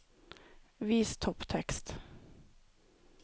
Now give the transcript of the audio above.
Vis topptekst